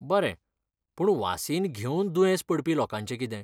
बरें, पूण वासीन घेवन दुयेंस पडपी लोकांचें कितें?